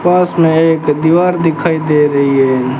पास में एक दीवार दिखाई दे रही है।